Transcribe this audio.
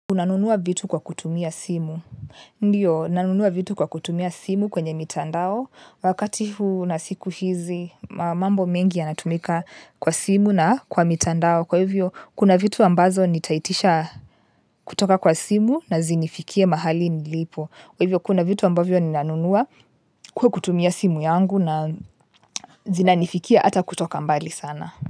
Unanunua vitu kwa kutumia simu. Ndiyo, nanunua vitu kwa kutumia simu kwenye mitandao. Wakati huu na siku hizi, mambo mengi yanatumika kwa simu na kwa mitandao. Kwa hiyvo kuna vitu ambazo nitaitisha kutoka kwa simu na zinifikie mahali nilipo kwa hivyo, kuna vitu ambavyo ninanunua kwa kutumia simu yangu na zinifikia hata kutoka mbali sana.